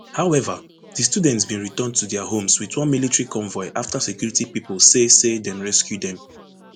however di students bin return to dia homes wit one military convoy afta security pipo say say dem rescue dem